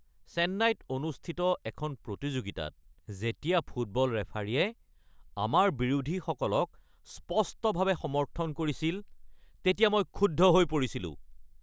চেন্নাইত অনুষ্ঠিত এখন প্ৰতিযোগিতাত যেতিয়া ফুটবল ৰেফাৰীয়ে আমাৰ বিৰোধীসকলক স্পষ্টভাৱে সমৰ্থন কৰিছিল তেতিয়া মই ক্ষুব্ধ হৈ পৰিছিলোঁ।